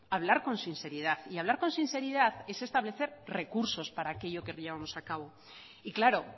hablar con sinceridad y hablar con sinceridad es establecer recursos para aquello que llevamos a cabo y claro